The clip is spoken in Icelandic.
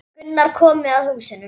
Gunnar komu að húsinu.